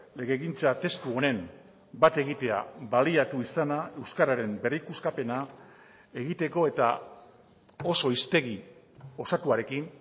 legegintza testu honen bat egitea baliatu izana euskararen berrikuskapena egiteko eta oso hiztegi osatuarekin